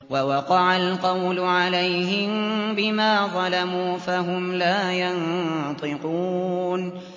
وَوَقَعَ الْقَوْلُ عَلَيْهِم بِمَا ظَلَمُوا فَهُمْ لَا يَنطِقُونَ